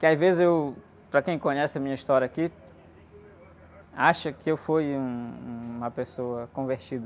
Porque às vezes eu... Para quem conhece a minha história aqui, acha que eu fui um, uma pessoa convertida.